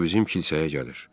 O bizim kilsəyə gəlir.